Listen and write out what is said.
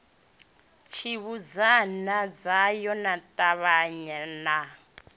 tshibudzana tshayo na ṱhavhana na